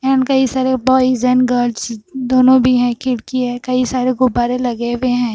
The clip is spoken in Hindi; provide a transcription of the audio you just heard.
कई सारे बॉयज एंड गर्ल्स दोनों भी हैं खिड़की है कई सारे गुब्बारे लगे हुए हैं।